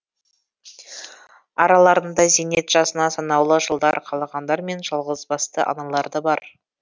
араларында зейнет жасына санаулы жылдар қалғандар мен жалғызбасты аналар да бар